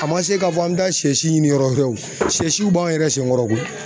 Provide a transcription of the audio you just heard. A man se k'a fɔ an bɛ taa sɛsi ɲini yɔrɔ wɛrɛ o sɛsiw b'an yɛrɛ senkɔrɔ koyi.